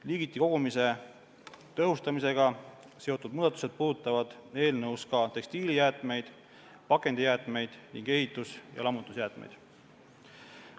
Liigiti kogumise tõhustamisega seotud muudatused puudutavad eelnõus ka tekstiilijäätmeid, pakendijäätmeid ning ehitus- ja lammutusjäätmeid.